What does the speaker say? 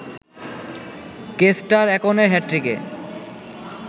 castor একনের হ্যাটট্রিকে